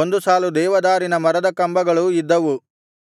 ಒಂದು ಸಾಲು ದೇವದಾರಿನ ಮರದ ಕಂಬಗಳೂ ಇದ್ದವು